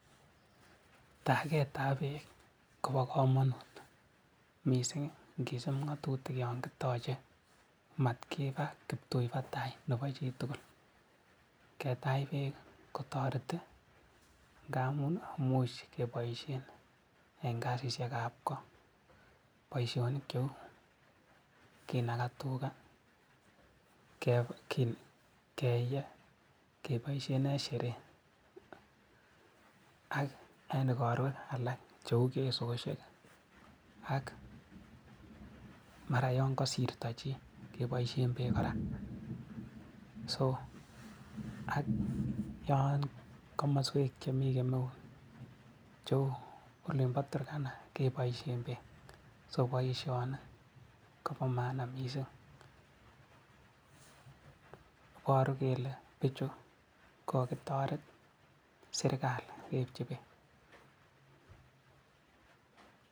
Taketab beek kobo kamanut mising ngisuup ngatutik yon kitache, matkipat tai nebo chi tugul. Ketach beek kotoreti ngamun imuch kepoishen eng kasisiekab ko. Boisionik cheu kinakaa tuga, keeye, kepoishe eng sherehe ak eng igorwek alak cheu fesosiek ak mara yon kasirto chi kepoishen beek kora ak kamaswek alak chemi kemeut cheu olimbo Turkana kepoishen beek. So boisioni kobo maana mising, iporu kole biichu kokakitoret serikali eng beek chuto.